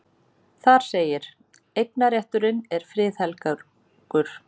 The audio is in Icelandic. Þar segir: Eignarrétturinn er friðhelgur.